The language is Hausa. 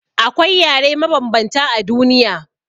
Akwai yare mabanbanta a duniya.